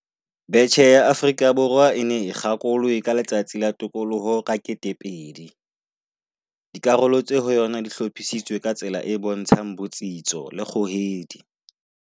Betjhe ya Afrika Borwa e ne e kgakolwe ka Letsatsi la Tokoloho ka 2000. Dikarolo tse ho yona di hlophisitswe ka tsela e bontshang botsitso le kgohedi.